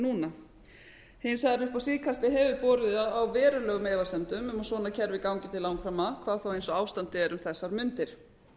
núna hins vegar upp á síðkastið hefur borið á verulegum efasemdum um að svona kerfi gangi til langframa hvað þá eins og ástandið er um þessar mundir